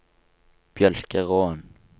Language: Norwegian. Mjølkeråen